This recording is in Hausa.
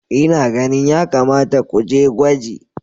Ina ganin ya kamata ku je gwaji.